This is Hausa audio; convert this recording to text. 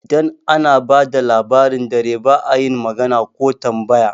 Idan ana bada Labarin dare ba'a yin magana ko tambaya